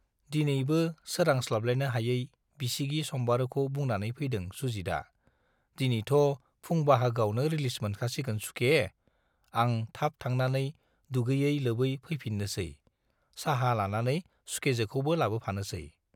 दिनैबो सोरांस्लाबलायनो हायै बिसिगि सम्बारुखौ बुंनानै फैदों सुजितआ दिनैथ' फुं बाहागोआवनो रिलिज मोनखासिगोन सुखे, आं थाब थांनानै दुगैयै लोबै फैफिननोसै, साहा लानानै सुखेजोखौबो लाबोफानोसै।